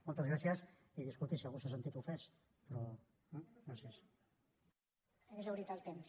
moltes gràcies i disculpi si algú s’ha sentit ofès però eh gràcies